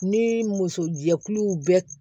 Ni muso jɛkuluw bɛ